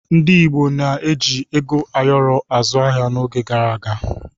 Ndi igbo na-eji ego ayọrọ azụ ahịa n'oge gara aga